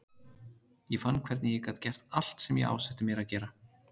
Ég fann hvernig ég gat gert allt sem ég ásetti mér að gera.